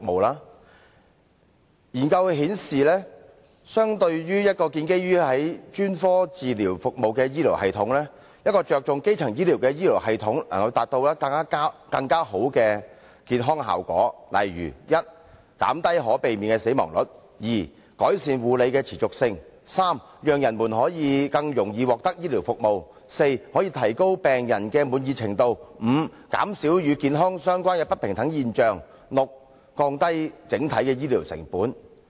研究顯示，相對於一個建基在專科治療服務的醫療系統，一個着重基層醫療的醫療系統，能夠達到更好的健康效果，例如第一，減低可避免的死亡率；第二，改善護理的持續性；第三，讓人們可以更容易獲得醫療服務；第四，可以提高病人的滿意程度；第五，減少與健康相關的不平等現象；及第六，降低整體的醫療成本。